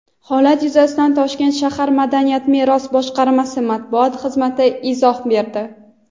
Holat yuzasidan Toshkent shahar madaniy meros boshqarmasi Matbuot xizmati izoh berdi.